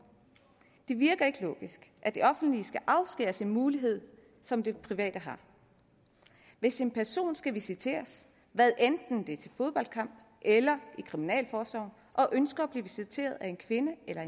det virker ikke logisk at de offentlige institutioner skal afskæres en mulighed som de private har hvis en person skal visiteres hvad enten det er til en fodboldkamp eller i kriminalforsorgen og ønsker at blive visiteret af en kvinde eller